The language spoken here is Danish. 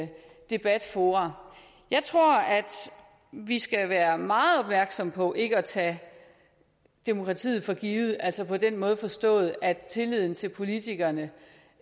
debatfora jeg tror vi skal være meget opmærksomme på ikke at tage demokratiet for givet altså på den måde forstået at tilliden til politikerne